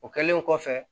O kɛlen kɔfɛ